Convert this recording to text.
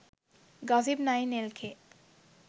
gossip9 lk